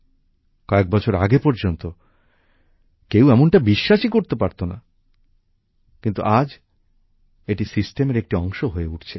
কয়েক বছর আগে পর্যন্ত কেউ এমনটা বিশ্বাসই পারতো না কিন্তু আজ এটি ব্যবস্থার অংশ হয়ে উঠছে